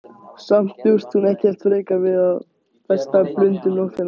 Samt bjóst hún ekkert frekar við því að festa blund um nóttina.